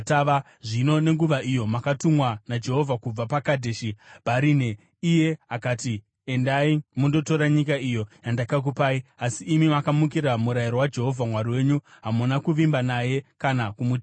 Zvino nenguva iyo makatumwa naJehovha kubva paKadheshi Bharinea, iye akati, “Endai mundotora nyika iyo yandakakupai.” Asi imi makamukira murayiro waJehovha Mwari wenyu. Hamuna kuvimba naye kana kumuteerera.